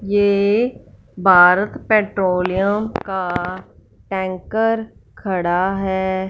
ये भारत पेट्रोलियम का टैंकर खड़ा है।